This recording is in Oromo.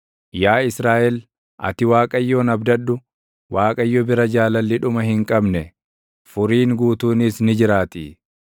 Yaa Israaʼel, ati Waaqayyoon abdadhu; Waaqayyo bira jaalalli dhuma hin qabne, furiin guutuunis ni jiraatii.